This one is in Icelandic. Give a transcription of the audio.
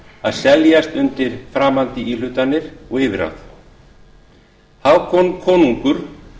að seljast undir framandi íhlutanir og yfirráð hákon konungur